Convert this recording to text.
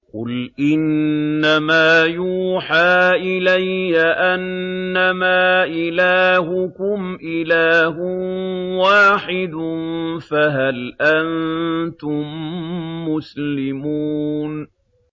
قُلْ إِنَّمَا يُوحَىٰ إِلَيَّ أَنَّمَا إِلَٰهُكُمْ إِلَٰهٌ وَاحِدٌ ۖ فَهَلْ أَنتُم مُّسْلِمُونَ